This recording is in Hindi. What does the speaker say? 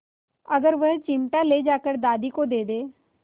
अगर वह चिमटा ले जाकर दादी को दे दे